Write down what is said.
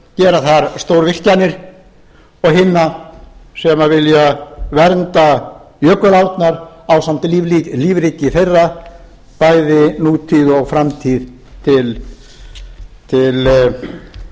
gera þar stórvirkjanir og hinna sem vilja vernda jökulárnar ásamt lífríki þeirra bæði nútíð og framtíð til blessunar